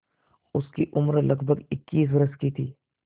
उसकी उम्र लगभग इक्कीस वर्ष की थी